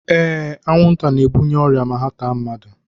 Ee, anwụnta na-ebunye ọrịa ma ha taa mmadụ